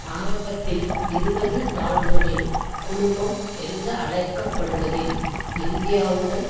ஆரம்பத்தில் இருபது நாடுகளின் குழுமம் என்றழைக்க படுவதில் இந்தியாவுடன்